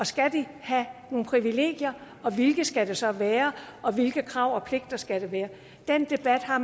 skal de have nogle privilegier og hvilke privilegier skal det så være og hvilke krav og pligter skal der være den debat har